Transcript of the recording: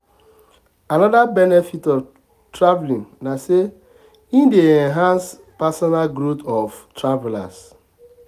another benefit of traveling na say e dey enhance personal growth of travelers.